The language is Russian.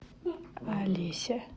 алесе